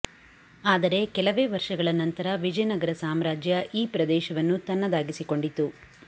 ಆದರೆ ಕೆಲವೇ ವರ್ಷಗಳ ನಂತರ ವಿಜಯನಗರ ಸಾಮ್ರಾಜ್ಯ ಈ ಪ್ರದೇಶವನ್ನು ತನ್ನದಾಗಿಸಿಕೊಂಡಿತು